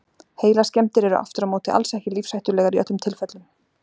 Heilaskemmdir eru aftur á móti alls ekki lífshættulegar í öllum tilfellum.